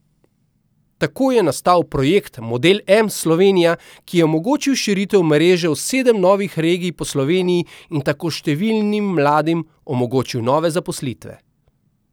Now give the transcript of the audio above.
Tako je nastal projekt Model M Slovenija, ki je omogočil širitev mreže v sedem novih regij po Sloveniji in tako številnim mladim omogočil nove zaposlitve.